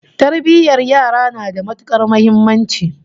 Tarbiyyar yara na da matukar muhimmanci